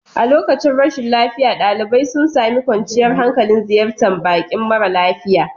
A lokacin rashin lafiya, ɗalibai sun sami kwanciyar hankali a ziyartar bakin mara lafiya.